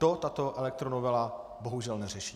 To tato elektronovela bohužel neřeší.